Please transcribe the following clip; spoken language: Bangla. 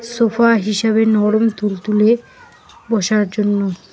সোফা হিসাবে নরম তুলতুলে বসার জন্য।